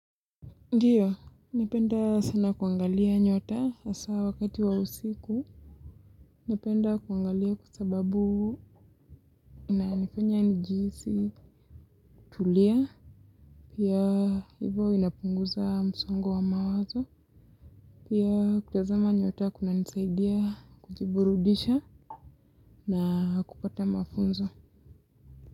Ndio, napenda sana kuangalia nyota hasa wakati wa usiku, napenda kuangalia kwa sababu inanifanya nijihisi tulia, pia hivyo inapunguza msongo wa mawazo, pia kutazama nyota kuna nisaidia kujiburudisha na kupata mafunzo.